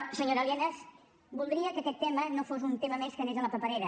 senyora lienas voldria que aquest tema no fos un tema més que anés a la paperera